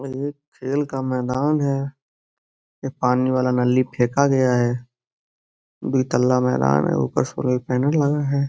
ये एक खेल का मैदान है। ये पानी वाला नली फेका गया है। दोतल्ला मैदान है। ऊपर सोलर पैनल लगा है।